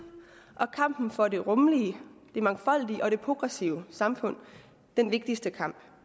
og kampen for det rummelige det mangfoldige og det progressive samfund den vigtigste kamp